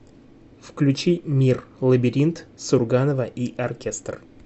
включи мир лабиринт сурганова и оркестр